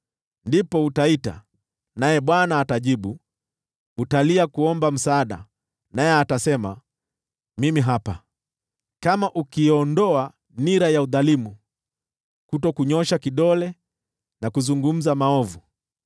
Ndipo utaita, naye Bwana atajibu, utalia kuomba msaada, naye atasema: Mimi hapa. “Kama ukiiondoa nira ya udhalimu, na kunyoosha kidole na kuzungumza maovu,